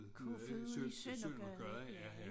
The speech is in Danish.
Ja i Søndergade ja ja